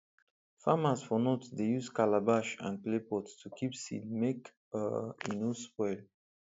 farmers for north dey use calabash and clay pot to keep seed make um e no spoil